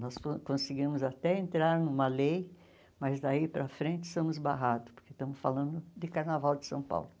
Nós conseguimos até entrar numa lei, mas daí para frente estamos barrados, porque estamos falando de Carnaval de São Paulo.